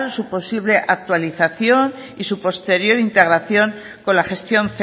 su posible actualización y su posterior integración con la gestión